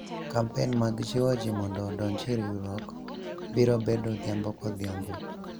kampen mag jiwo jii mondo odonji e riwruok biro bedo odhiambo kodhiambo